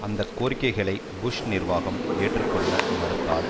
அந்த கோரிக்கைகளை புஷ் நிர்வாகம் ஏற்றுக்கொள்ள மறுத்தால்